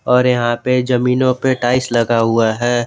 और यहां पे जमीनों पे टाइल्स लगा हुआ है।